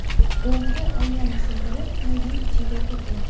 O‘g‘ri oynani sindirib muzey ichiga kirgan.